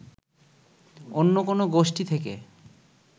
অন্য কোনো গোষ্ঠী থেকে